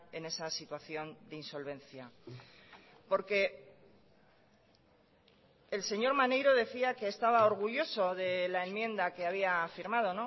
en esa situación de insolvencia por que el señor maneiro decía que estaba orgulloso de la enmienda que había firmado